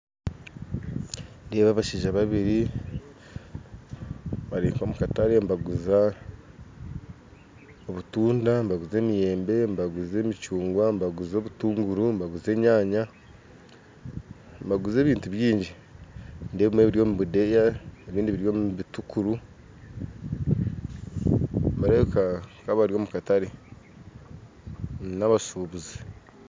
Nindeeba abashaija babiri bari nk'omukatare nibaguza obutunda nibaguza emiyembe nibaguza emicunguwa nibaguza obutunguru nibaguza enyanya nibaguza ebintu bingi nindeeba ebimwe biri omu budeeya ebindi biri omu bitukuru nibarebeka nkabari omu katare n'abashubuzi